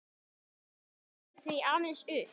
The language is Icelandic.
Ég velti því aðeins upp.